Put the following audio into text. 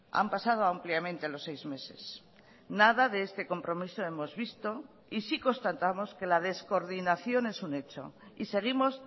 han pasado ampliamente los seis meses nada de este compromiso hemos visto y sí constatamos que la descoordinación es un hecho y seguimos